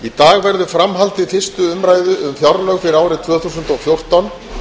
í dag verður fram haldið fyrstu umræðu um fjárlög fyrir árið tvö þúsund og fjórtán